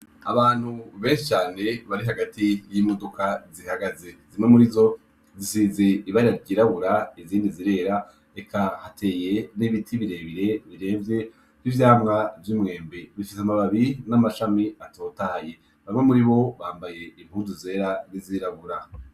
Abantu benshi cane bari hagati yimodoka zihagaze zimwe murizo zisize ibara ryirabura izindi zirera eka hateye nibiti birebire biremvye nivyamwa vyumwembe bifise amababi namashami atotahaye bamwe muribo bambaye impuzu zera nizirabura